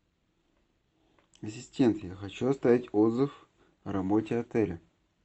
ассистент я хочу оставить отзыв о работе отеля